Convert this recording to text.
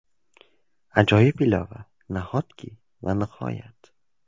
Ajoyib ilova, nahotki va nihoyat.